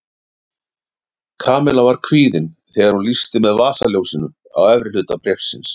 Kamilla var kvíðin þegar hún lýsti með vasaljósinu á efri hluta bréfsins.